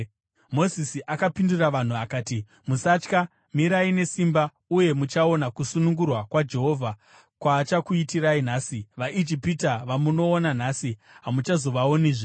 Mozisi akapindura vanhu akati, “Musatya. Mirai nesimba uye muchaona kusunungura kwaJehovha kwaachakuitirai nhasi. VaIjipita vamunoona nhasi hamuchazovaonizve.